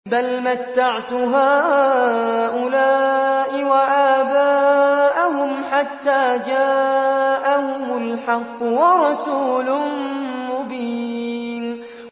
بَلْ مَتَّعْتُ هَٰؤُلَاءِ وَآبَاءَهُمْ حَتَّىٰ جَاءَهُمُ الْحَقُّ وَرَسُولٌ مُّبِينٌ